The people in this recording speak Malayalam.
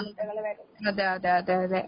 ആഹ് അതെയതെയതെയതെ.